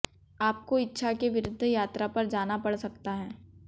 आपको इच्छा के विरुद्ध यात्रा पर जाना पड़ सकता है